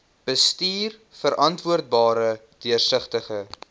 bestuur verantwoordbare deursigtige